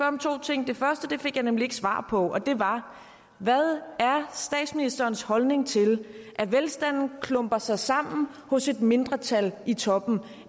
om to ting det første fik jeg nemlig ikke svar på det var hvad er statsministerens holdning til at velstanden klumper sig sammen hos et mindretal i toppen